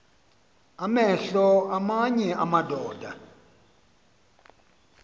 amehlo aamanye amadoda